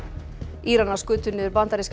Íranar skutu niður bandarískan